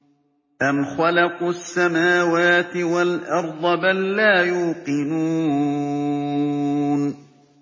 أَمْ خَلَقُوا السَّمَاوَاتِ وَالْأَرْضَ ۚ بَل لَّا يُوقِنُونَ